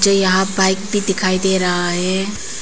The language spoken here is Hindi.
यहां बाइक भी दिखाई दे रहा है।